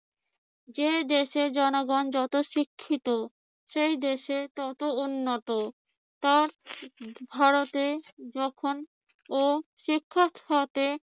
যে দেশে জনগণ যত শিক্ষিত সে দেশে তত উন্নত ভারতে যখন ও শিক্ষা খাতে